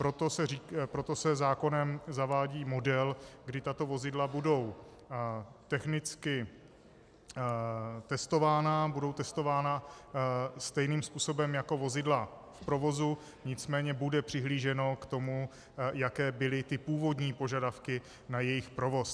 Proto se zákonem zavádí model, kdy tato vozidla budou technicky testována, budou testována stejným způsobem jako vozidla v provozu, nicméně bude přihlíženo k tomu, jaké byly ty původní požadavky na jejich provoz.